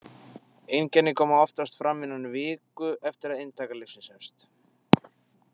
Einkenni koma oftast fram innan viku eftir að inntaka lyfsins hefst.